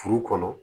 Furu kɔnɔ